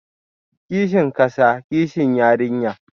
Kishin kasa, kishi yarinya